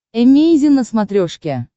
эмейзин на смотрешке